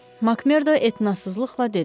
Makmerdo etnasızlıqla dedi.